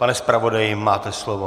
Pane zpravodaji, máte slovo.